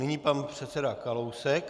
Nyní pan předseda Kalousek.